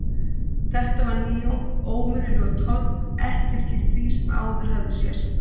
Þetta var nýjung, óvenjulegur tónn, ekkert líkt því sem áður hafði sést.